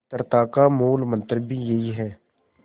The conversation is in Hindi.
मित्रता का मूलमंत्र भी यही है